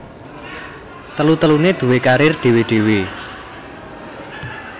Telu teluné duwé karir dhéwé dhéwé